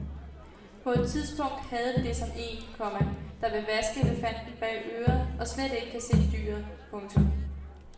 På et tidspunkt havde vi det som en, komma der vil vaske elefanten bag øret og slet ikke kan se dyret. punktum